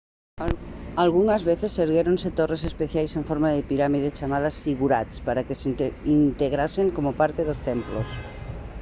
algunhas veces erguéronse torres especiais en forma de pirámide chamadas ziggurats para que se integrasen como parte dos templos